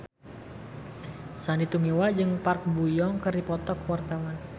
Sandy Tumiwa jeung Park Bo Yung keur dipoto ku wartawan